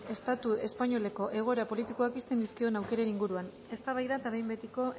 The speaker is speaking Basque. estatu espainoleko egoera politikoak ixten dizkion aukeren inguruan eztabaida eta behin betiko